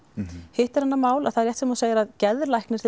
hitt er annað mál það er rétt sem þú segir að geðlæknir